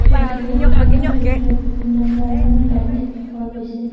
Restaurant খনৰ ভিতৰত বিভিন্ন ধৰণৰ লাইট দেখা পোৱা গৈছে।